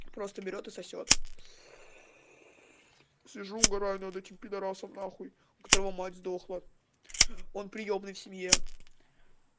просто берет и сосёт сижу угораю над этим пидорасом нахуй у которого мать сдохла он приёмный в семье